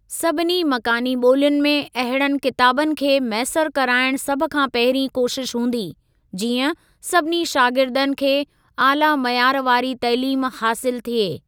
सभिनी मकानी ॿोलियुनि में अहिड़नि किताबनि खे मैसर कराइण सभ खां पहिरीं कोशिश हूंदी, जीअं सभिनी शागिर्दनि खे आला मयार वारी तइलीम हासिल थिए।